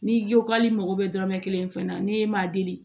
N'i ko k'ale mago bɛ dɔrɔmɛ kelen fɛn na n'e m'a deli